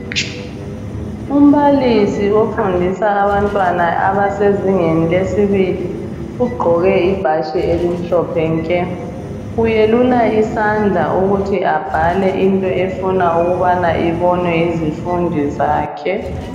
Umbalisi ofundisa abantwana abasezingeni lesibili ugqoke ibhatshi elimhlophe nke uyelula isandla ukuthi abhale into efuna ukubana ibonwe yizifundi zakhe.